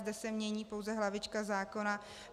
Zde se mění pouze hlavička zákona.